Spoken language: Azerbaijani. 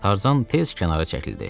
Tarzan tez kənara çəkildi.